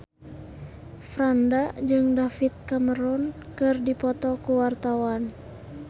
Franda jeung David Cameron keur dipoto ku wartawan